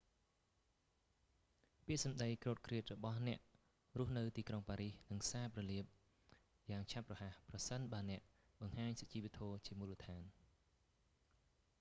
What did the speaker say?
ពាក្យសម្តីគ្រោតគ្រាតរបស់អ្នករស់នៅទីក្រុងប៉ារីសនឹងសាបរលាបយ៉ាងឆាប់រហ័សប្រសិនបើអ្នកបង្ហាញសុជីវធម៌ជាមូលដ្ឋាន